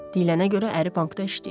Deyilənə görə əri bankda işləyir.